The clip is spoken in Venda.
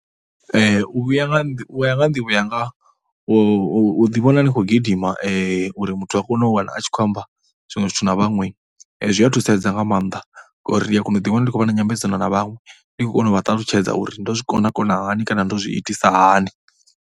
U vhuya nga nḓivho, u ya nga ha nḓivho yanga u u u ḓivhona u khou gidima uri muthu a kone u wana a tshi khou amba zwiṅwe zwithu na vhathu na vhaṅwe, zwi a thusedza nga maanḓa ngauri ndi ya kona u ḓiwana ndi khou vha na nyambedzano na vhaṅwe ndi khou vha ṱalutshedze uri ndo zwi kona kona hani kana ndo zwi itisisa hani.